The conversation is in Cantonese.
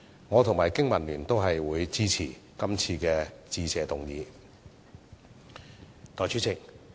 我及經民聯都支持這項致謝議案。